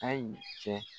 Ayi cɛ